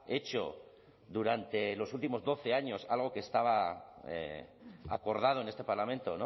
hecho durante los últimos doce años algo que estaba acordado en este parlamento